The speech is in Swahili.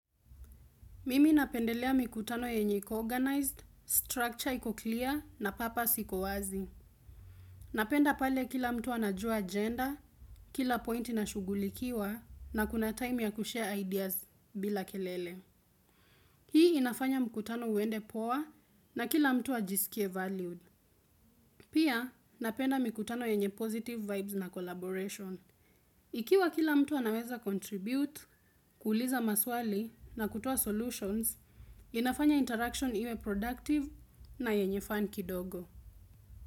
Mimi napendelea mikutano yenye iko-organized, structure iko-clear na purpose iko-wazi. Napenda pale kila mtu anajua agenda, kila pointi inashughulikiwa na kuna time ya kushare ideas bila kelele. Hii inafanya mkutano uende poa na kila mtu ajisikie valued. Pia napenda mikutano yenye positive vibes na collaboration. Ikiwa kila mtu anaweza contribute, kuuliza maswali na kutoa solutions, inafanya interaction iwe productive na yenye fun kidogo.